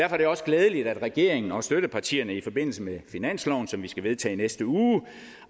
er det også glædeligt at regeringen og støttepartierne i forbindelse med finansloven som vi skal vedtage i næste uge